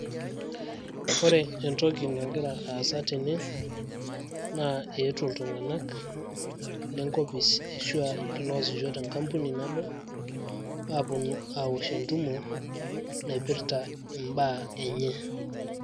Ore entoki nagira aasa tene, naa eetuo iltung'anak lenkopis ashua iloasisho tenkampuni nabo aapuonu aawosh entumo naipirta imbaa enye.